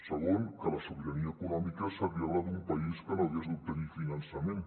segon que la sobirania econòmica seria la d’un país que no hagués d’obtenir finançament